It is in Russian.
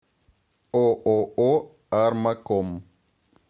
ооо армаком